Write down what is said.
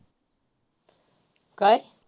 काय.